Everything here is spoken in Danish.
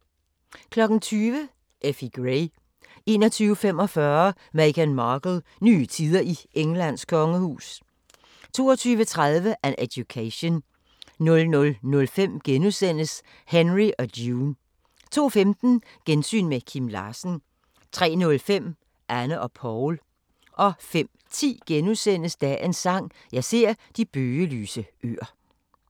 20:00: Effie Gray 21:45: Meghan Markle - nye tider i Englands kongehus 22:30: An Education 00:05: Henry og June * 02:15: Gensyn med Kim Larsen 03:05: Anne og Poul 05:10: Dagens Sang: Jeg ser de bøgelyse øer *